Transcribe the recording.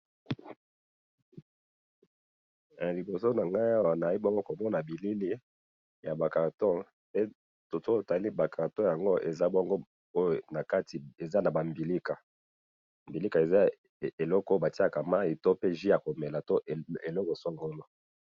Liboso na ngai awa naye bongo komona bilili ya ba cartons, soki to tali ba cartons yango eza bongo oyo na kati eza na ba mbilika, mbilika eza eloko o ba tielaka mayi to pe jus yako mela to eloko songolo